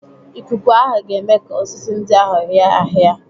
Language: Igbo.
Ikuku ahụ ga-eme ka osisi ndị ahụ hịa hịa.